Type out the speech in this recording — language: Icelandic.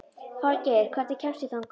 Falgeir, hvernig kemst ég þangað?